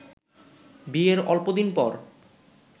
বিয়ের অল্প দিন পর